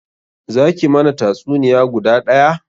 Za ki mana tatsuniya guda daya?